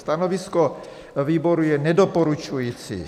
Stanovisko výboru je nedoporučující.